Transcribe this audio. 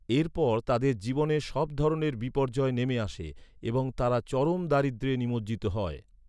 এর পর তাদের জীবনে সব ধরনের বিপর্যয় নেমে আসে, এবং তারা চরম দারিদ্রে নিমজ্জিত হয়।